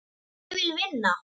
Ég vil vinna.